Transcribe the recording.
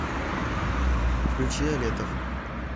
включи алетов